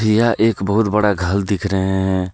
यह एक बहुत बड़ा घल दिख रहे हैं।